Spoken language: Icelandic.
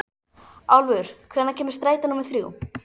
Álfur, hvenær kemur strætó númer þrjú?